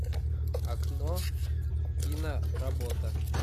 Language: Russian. окно киноработа